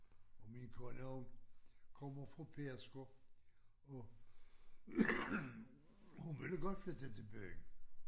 Og min kone hun kommer fra Pedersker og hun ville godt flytte til byen